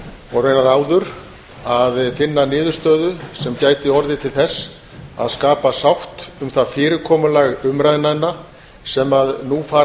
og raunar áður að finna niðurstöðu sem gæti orðið til þess að skapa sátt um það fyrirkomulag umræðnanna sem nú fara